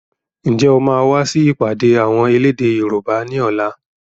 Ǹjẹ́ o máa wà sì ìpàdé àwọn elédè Yorùbá ni ọ̀la?